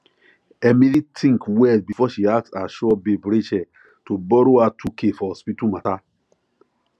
emily think well before she ask her sure babe rachel to borrow her two k for hospital matter